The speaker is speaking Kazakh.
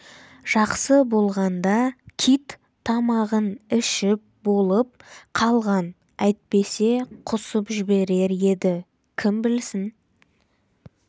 жақсы болғанда кит тамағын ішіп болып қалған әйтпесе құсып жіберер еді кім білсін